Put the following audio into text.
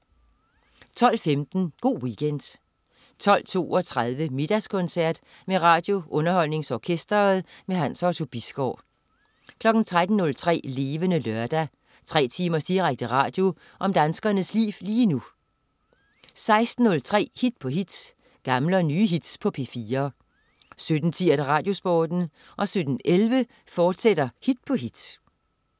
12.15 Go' Weekend 12.32 Middagskoncert med RadioUnderholdningsOrkestret. Hans Otto Bisgaard 13.03 Levende Lørdag. Tre timers direkte radio om danskernes liv lige nu 16.03 Hit på hit. Gamle og nye hits på P4 17.10 RadioSporten 17.11 Hit på hit, fortsat